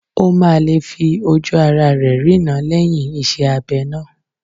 Ó máa lè fi ojú ará rẹ̀ rína lẹ́yìn iṣẹ́ abẹ náà